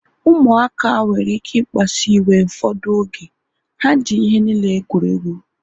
Ụmụaka nwere ike ikpasu iwe ụfọdụ oge. Ha ji ihe niile egwuregwu